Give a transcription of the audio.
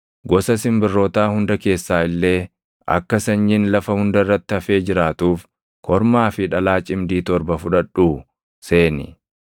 gosa simbirrootaa hunda keessaa illee akka sanyiin lafa hunda irratti hafee jiraatuuf kormaa fi dhalaa cimdii torba fudhadhuu seeni.